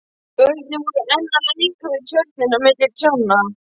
Börnin voru enn að leik við tjörnina milli trjánna.